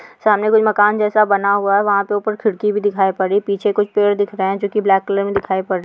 सामने कुछ मकान जैसा बना हुआ है वहाँ पे उपर खिड़की भी दिखाई पड़ रही है पीछे कुछ पेड़ दिख रहे हैं जो कि ब्लैक कलर मे दिखाई पड़ --